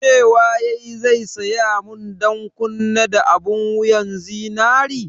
Cewa yayi zai saya mun ɗankunne da abun wuyan zinari?